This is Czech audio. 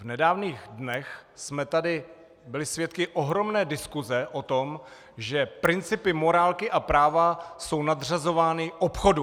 V nedávných dnech jsme tady byli svědky ohromné diskuse o tom, že principy morálky a práva jsou nadřazovány obchodu.